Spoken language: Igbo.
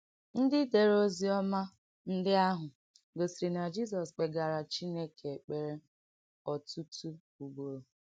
Ndí dèrè Ọzíọ́mà ndí àhụ̀ gòsìrì nà Jìzọ̀s kpègaàrà Chínékè èkpèrè ọ̀tútù ùgbòrò.